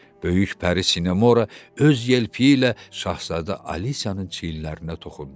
Böyük pəri Sinamora öz yelpəyi ilə Şahzadə Alisyanın çiyinlərinə toxundu.